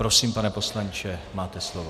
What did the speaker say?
Prosím, pane poslanče, máte slovo.